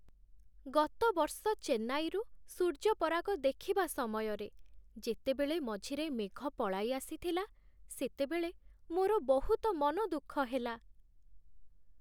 ଗତ ବର୍ଷ ଚେନ୍ନାଇରୁ ସୂର୍ଯ୍ୟପରାଗ ଦେଖିବା ସମୟରେ ଯେତେବେଳେ ମଝିରେ ମେଘ ପଳାଇଆସିଥିଲା, ସେତେବେଳେ ମୋର ବହୁତ ମନ ଦୁଃଖ ହେଲା।